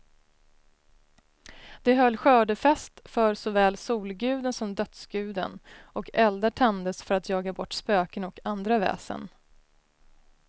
De höll skördefest för såväl solguden som dödsguden, och eldar tändes för att jaga bort spöken och andra väsen.